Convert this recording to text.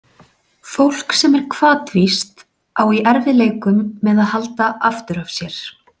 Fólk sem er hvatvíst á í erfiðleikum með að halda aftur af sér.